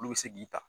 Olu bɛ se k'i ta